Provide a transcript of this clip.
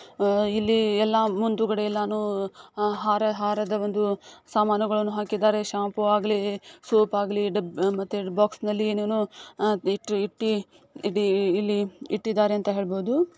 ಆಹ್ಹ್ ಇಲ್ಲಿ ಎಲ್ಲ ಮುಂದುಗಡೆ ಎಲ್ಲಾನು ಹಾರ ಹಾರದ ಒಂದು ಸಾಮಾನುಗಳನ್ನು ಹಾಕಿದ್ದಾರೆ ಶಾಂಪೂ ಆಗ್ಲಿ ಸೋಪ್ ಆಗ್ಲಿ ಡಬ್ಬಿ ಬಾಕ್ಸ್ನಲ್ಲಿ ಇಟ್ಟಿ ಇಟ್ಟಿ ಇಲ್ಲಿ ಇಟ್ಟಿದಾರೆ ಅಂತ ಹೇಳ್ಬೋದು.